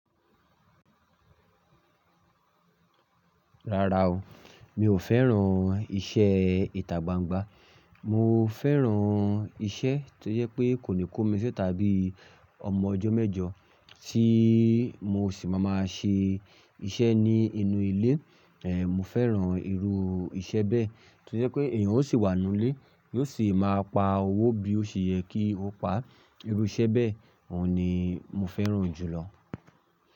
Rárá o, mi ò fẹ́ràn iṣẹ́ ìta gbangba. Mo fẹ́ràn iṣẹ́ tó jẹ́ pé kò ní kó mi sítà bí ọmọ ọjọ́ mẹ́jọ tí mo sì má máa ṣe iṣẹ́ ní inú ilé. Mo fẹ́ràn irú iṣẹ́ bẹ́ tó jẹ́ pé èèyàn ó sì wà nínú ilé, yóò sì máa pa owó bí ó ṣe yẹ kí ó pa. Irú iṣẹ́ bẹ́ẹ̀, òhun ni mo fẹ́ràn jùlọ.